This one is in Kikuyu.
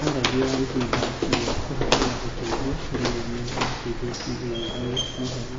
Aragia ĩhinda rĩa kũbeana ũteithio ndegeinĩ ya kĩjesi ikĩthii Mhe